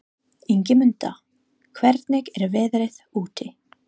Ingimunda, hvernig er veðrið úti?